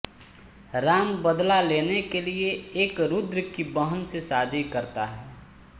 राम बदला लेने के लिए रुद्र की बहन से शादी करता है